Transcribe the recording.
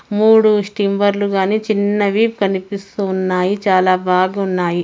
మూడు స్టీమ్మర్లు గాని చిన్నవి కనిపిస్తున్నాయి చాలా బాగున్నాయి.